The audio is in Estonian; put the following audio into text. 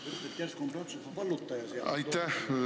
Aitäh, lugupeetud eesistuja!